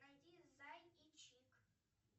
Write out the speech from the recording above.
найди зай и чик